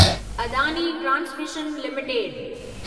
Adani transmission limited